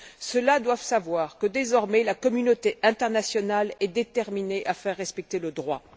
Ceux là doivent savoir que, désormais, la communauté internationale est déterminée à faire respecter le droit.